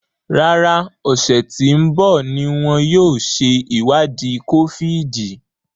Rárá, ọsẹ tí ń bọ̀ ní wọn yóò ṣe ìwádìí kófíìdì